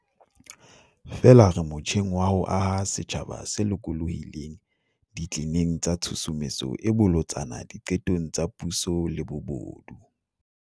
Feela re motjheng wa ho aha setjhaba se lokolohileng ditleneng tsa tshusumetso e bolotsana di qetong tsa puso le bobodu.